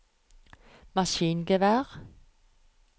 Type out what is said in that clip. maskingevær